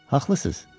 Haqlısız.